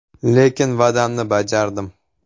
Lekin, va’damni bajardim.